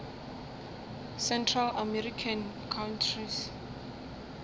central american countries